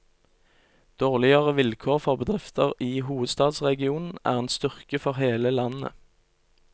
Dårligere vilkår for bedrifter i hovedstadsregionen er en styrke for hele landet.